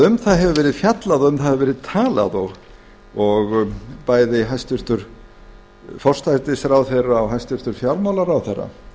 um það hefur verið fjallað og um það hefur verið talað og bæði hæstvirtan forsætisráðherra og hæstvirtur fjármálaráðherra